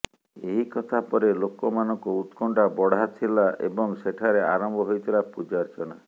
ଏହି କଥା ପରେ ଲୋକ ମାନଙ୍କ ଉତ୍କଣ୍ଠା ବଢାଥିଲା ଏବଂ ସେଠାରେ ଆରମ୍ଭ ହୋଇଥିଲା ପୂଜାର୍ଚ୍ଚନା